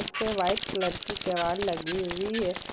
इस पे white colour की केवाड़ लगी हुई है।